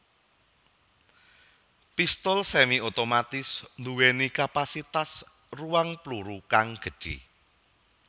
Pistul semi otomatis nduwèni kapasitas ruang pluru kang gedhé